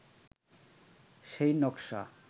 সেই নকশা